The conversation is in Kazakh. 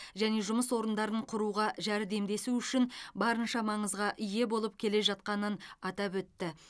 және жұмыс орындарын құруға жәрдемдесу үшін барынша маңызға ие болып келе жатқанын атап өтті